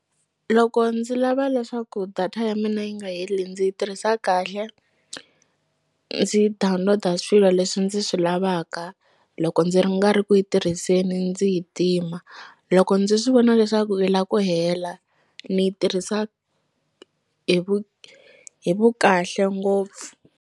Loko ndzi lava leswaku data ya mina yi nga heli ndzi yi tirhisa kahle ndzi download-a swilo leswi ndzi swi lavaka loko ndzi ri nga ri ku yi tirhiseni ndzi yi tima loko ndzi swi vona leswaku yi la ku hela ni yi tirhisa hi vu hi vu kahle ngopfu.